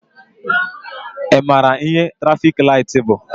Ị maara ihe trafik laịtị bụ?